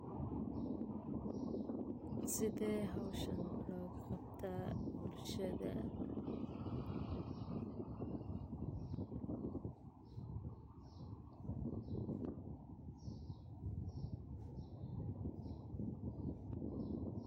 Sithe hoshan loga qabtaa bulshaada.